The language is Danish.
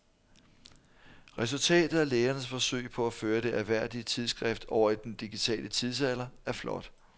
Resultatet af lægernes forsøg på at føre det ærværdige tidsskrift over i den digitale tidsalder er flot.